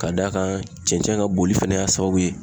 Ka d'a kan cɛncɛn ka boli fɛnɛ y'a sababu ye.